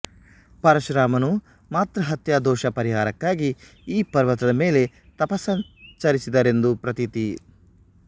ಪರಶುರಾಮನು ಮಾತೃ ಹತ್ಯಾ ದೋಷ ಪರಿಹಾರಕ್ಕಾಗಿ ಈ ಪರ್ವತದ ಮೇಲೆ ತಪಸ್ಸಾಚರಿಸಿದರೆಂದು ಪ್ರತೀತಿ